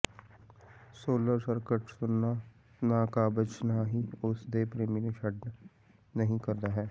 solar skirt ਸੁਣਨਾ ਨਾ ਕਾਬਜ਼ ਨਾ ਹੀ ਉਸ ਦੇ ਪ੍ਰੇਮੀ ਨੂੰ ਛੱਡ ਨਹੀ ਕਰਦਾ ਹੈ